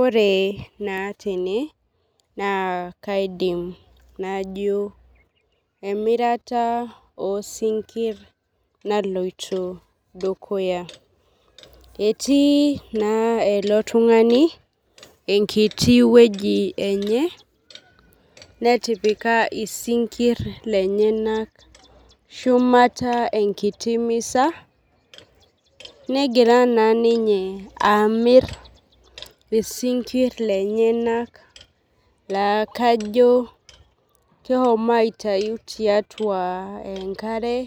Ore naa tene naa kaidim najo emirata oo sinkir naloito dukuya. Etii naa ilo tung'ani enkiti weji enye netipika isinkir lenyenak shumata enkiti misa, negira naa ninye amir isinkir lenyenak laa kajo kesho aitayu tiatua enkare.